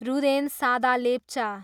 Ruden Sada Lepcha